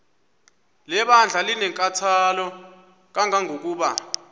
lebandla linenkathalo kangangokuba